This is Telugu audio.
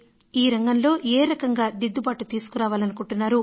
ఈ రంగంలో ఏ రకంగా దిద్దుబాటు తీసుకురావాలనుకుంటున్నారు